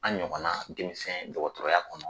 An ɲɔgɔn na denmisɛn dɔgɔtɔrɔya kɔnɔ